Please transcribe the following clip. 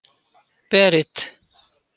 Berit